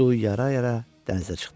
Suyu yara-yara dənizə çıxdı.